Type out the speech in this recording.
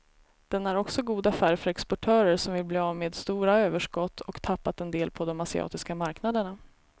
Den är också god affär för exportörer som vill bli av med stora överskott och tappat en del på de asiatiska marknaderna.